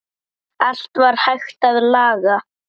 Allt var hægt að laga.